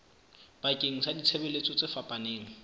bakeng sa ditshebeletso tse fapaneng